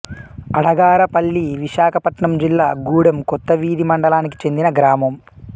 అడగారపల్లి విశాఖపట్నం జిల్లా గూడెం కొత్తవీధి మండలానికి చెందిన గ్రామం